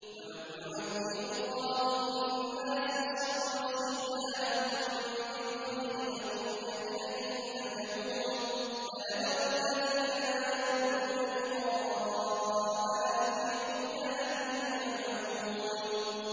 ۞ وَلَوْ يُعَجِّلُ اللَّهُ لِلنَّاسِ الشَّرَّ اسْتِعْجَالَهُم بِالْخَيْرِ لَقُضِيَ إِلَيْهِمْ أَجَلُهُمْ ۖ فَنَذَرُ الَّذِينَ لَا يَرْجُونَ لِقَاءَنَا فِي طُغْيَانِهِمْ يَعْمَهُونَ